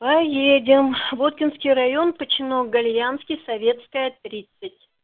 поедем воткинский район починок гольянский советская тридцать